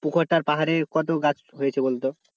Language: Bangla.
পুকুরটার পারে কত গাছ হয়েছে বলতো?